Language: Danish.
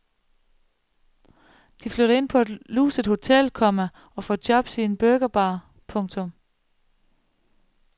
De flytter ind på et luset hotel, komma og får jobs i en burgerbar. punktum